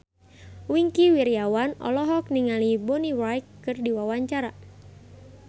Wingky Wiryawan olohok ningali Bonnie Wright keur diwawancara